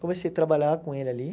Comecei a trabalhar com ele ali.